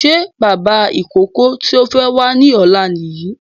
Ṣé bàbá ìkókó tí ó fẹ́ wá ní ọ̀la Nìyí?